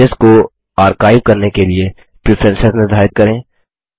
messages को archive करने के लिए प्रीफरेंस निर्धारित करें